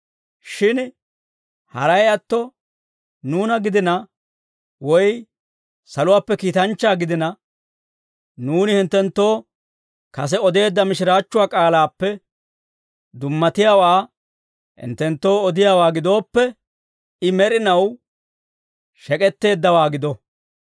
Shin haray atto nuuna gidina, woy saluwaappe kiitanchchaa gidina, nuuni hinttenttoo kase odeedda mishiraachchuwaa k'aalaappe dummatiyaawaa hinttenttoo odiyaawaa gidooppe, I med'inaw shek'etteeddawaa gido.